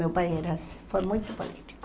Meu pai era foi muito político.